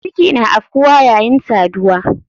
Ciki na afkuwane yayin saduwa.